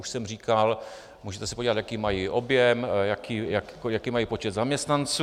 Už jsem říkal, můžete se podívat, jaký mají objem, jaký mají počet zaměstnanců.